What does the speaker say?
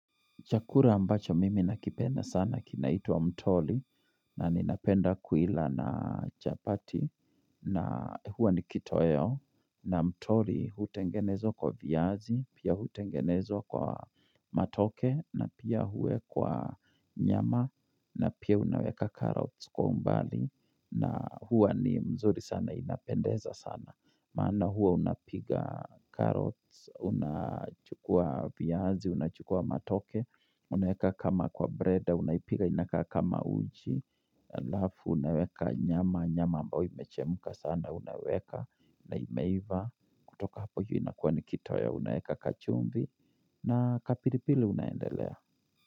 Chakula ambacho mimi nakipenda sana kinaitwa mtoli na ninapenda kuila na chapati na huwa nikitoeo na mtoli hutengenezwa kwa viazi, pia hutengenezwa kwa matoke na pia huwekwa nyama na pia unaweka carrots kwa umbali na huwa ni mzuri sana inapendeza sana. Maana huwa unapiga carrots, unachukua viazi, unachukua matoke, unaweka kama kwa breda, unaipiga inakaa kama uji Halafu, unaweka nyama, nyama ambayo imechemuka sana, unaweka, na imeiiva kutoka hapo hiyo inakuwa nikitoei, unaweka kachumvi, na kapilipili unaendelea.